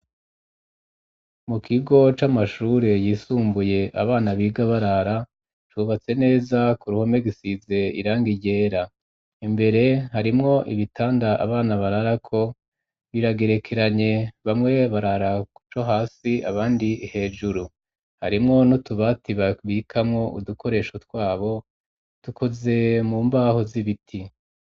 mu kigo c'amashure yisumbuye abana biga barara cubatse neza ku ruhome gisize irangi ryera imbere harimwo ibitanda abana barara ko biragerekeranye bamwe barara kuco hasi abandi hejuru harimwo no tubati babikamwo udukoresho twabo dukoze mu mbaho z'ibiti.